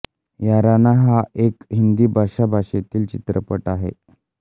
याराना हा एक हिंदी भाषा भाषेतील चित्रपट आहे